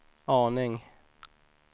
aning